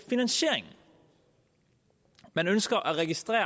finansieringen man ønsker at registrere